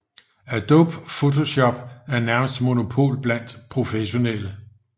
Adobe Photoshop har nærmest monopol blandt professionelle